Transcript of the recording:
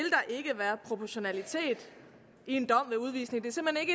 proportionalitet i en dom med udvisning